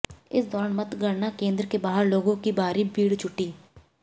इस दौरान मतगणना केंद्र के बाहर लोगों की भारी भीड़ जुटी